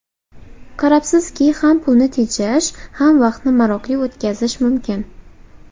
Qarabsizki, ham pulni tejash, ham vaqtni maroqli o‘tkazish mumkin.